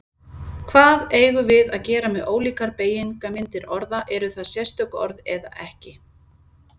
Hvað eigum við að gera með ólíkar beygingarmyndir orða, eru það sérstök orð eða ekki?